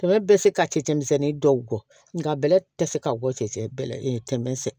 bɛ se ka cɛncɛn misɛnnin dɔw bɔ nka bɛlɛ tɛ se ka bɔ cɛncɛn bɛ tɛmɛ sɛ